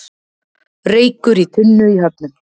Reykur í tunnu í Höfnum